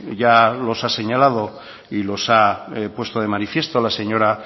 ya los ha señalado y los ha puesto de manifiesto la señora